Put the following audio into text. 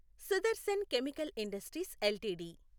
Sudarshan Chemical Industries LTD